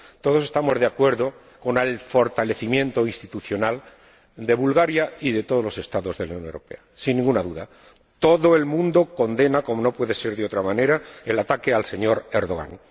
Todos estamos de acuerdo con el fortalecimiento institucional de Bulgaria y de todos los Estados de la Unión Europea, sin ninguna duda. Todo el mundo condena, como no puede ser de otra manera, el ataque al señor Dogan.